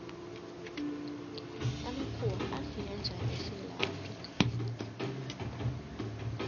amakhuwa afika njani esewula afrika